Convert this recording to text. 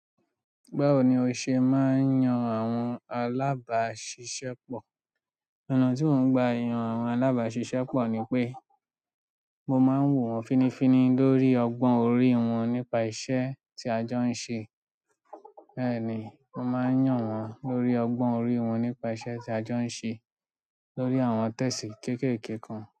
Báwo ni o ṣe máa ń yan àwọn alábàáṣiṣẹ́ pọ̀? Ọ̀nà tí mò ń gba yan àwọn alábáṣiṣẹ́ pọ̀ ni pé mo máa ń wò wọ́n finifini lórí ọgbọ́n orí wọ́n nípa iṣẹ́ tí a jọ ń ṣe. Bẹ́ẹ̀ ni, mo máa ń yàn wọ́n lórí ọgbọ́n orí wọ́n nípa iṣẹ́ tí a jọ ń ṣe lórí àwọn tẹ́sì kéékèèké kan.